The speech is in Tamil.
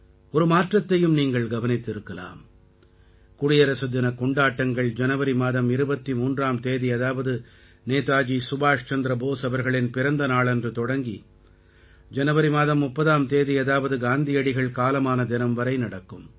ஒரு மாற்றத்தையும் நீங்கள் கவனித்திருக்கலாம் குடியரசு தினக் கொண்டாட்டங்கள் ஜனவரி மாதம் 23ஆம் தேதி அதாவது நேதாஜி சுபாஷ் சந்திர போஸ் அவர்களின் பிறந்த நாளன்று தொடங்கி ஜனவரி மாதம் 30ஆம் தேதி அதாவது காந்தியடிகள் காலமான தினம் வரை நடக்கும்